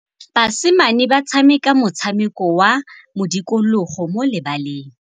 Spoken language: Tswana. Basimane ba tshameka motshameko wa modikologô mo lebaleng.